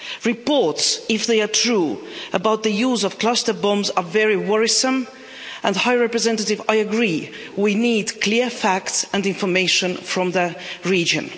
Reports, if they are true, about the use of cluster bombs are very worrisome and, High Representative, I agree that we need clear facts and information from the region.